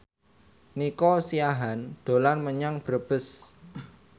Nico Siahaan dolan menyang Brebes